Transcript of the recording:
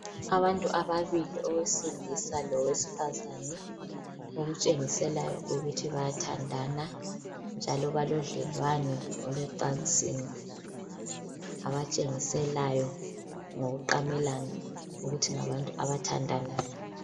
Abantu ababili owesilisa lowesifazana okutshengiselayo ukuthi bayathandana njalo balobudlelwano olwecansini abatshengiselayo ngokuqamelana ukuthi ngabantu abathandanayo